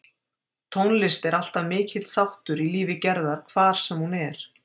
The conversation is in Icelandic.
Tónlist er alltaf mikill þáttur í lífi Gerðar hvar sem hún er.